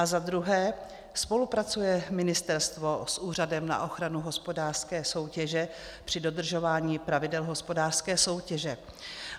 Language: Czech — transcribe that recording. A za druhé, spolupracuje ministerstvo s Úřadem na ochranu hospodářské soutěže při dodržování pravidel hospodářské soutěže?